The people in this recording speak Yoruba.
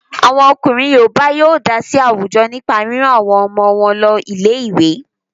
Àwọn ọkùnrin Yorùbá yóó dá sí àwùjọ nípa rírán àwọn ọmọ wọn lọ ilé ìwé.